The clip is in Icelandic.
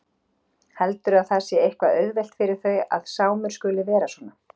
Heldurðu að það sé eitthvað auðvelt fyrir þau að Sámur skuli vera svona?